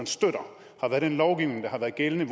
støtter har været den lovgivning der har været gældende